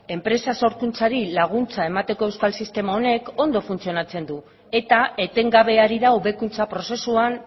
enpresa sorkuntzari laguntza emateko euskal sistema honek ondo funtzionatzen du eta etengabe ari da hobekuntza prozesuan